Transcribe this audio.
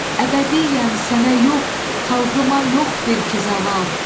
Əbədiyyən sənə yox, xalqıma yox bil ki zaval.